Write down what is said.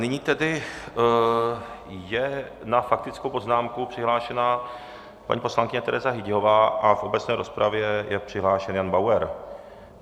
Nyní tedy je na faktickou poznámku přihlášena paní poslankyně Tereza Hyťhová a v obecné rozpravě je přihlášen Jan Bauer.